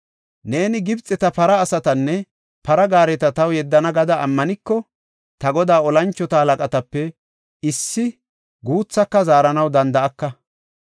Neeni, “Gibxeti para asatanne para gaareta taw yeddana” gada ammaniko, ta godaa tora moconatape issi guuthaaka zaaranaw danda7aka.